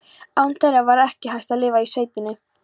Án þeirra var ekki hægt að lifa í sveitinni.